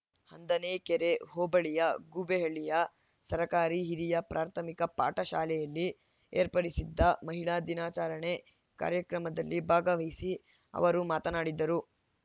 ಹಂದನೆಕೆರೆ ಹೋಬಳಿಯ ಗೂಬೆಹಳ್ಳಿಯ ಸರ್ಕಾರಿ ಹಿರಿಯ ಪ್ರಾಥಮಿಕ ಪಾಠಶಾಲೆಯಲ್ಲಿ ಏರ್ಪಡಿಸಿದ್ದ ಮಹಿಳಾ ದಿನಾಚರಣೆ ಕಾರ್ಯಕ್ರಮದಲ್ಲಿ ಭಾಗವಹಿಸಿ ಅವರು ಮಾತನಾಡಿದರು